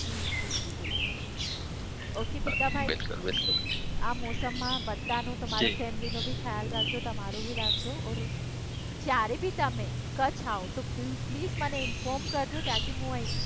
જી જી બિલકુલ ઓકે ભીખાભાઇ આ મોસમમાં બધાનું તમારી ફેમિલીનું બી ખ્યાલ રાખજો તમારું બી રાખજો ઓર જયારે બી તમે કચ્છ આવો તો પ્લીઝ મને ઇન્ફોર્મ કરજો તાકી હું અહીં